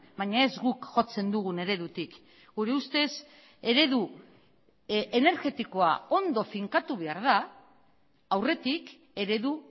baina ez guk jotzen dugun eredutik gure ustez eredu energetikoa ondo finkatu behar da aurretik eredu